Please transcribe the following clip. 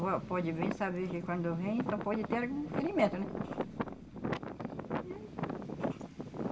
pode bem saber que quando vem só pode ter algum ferimento, né?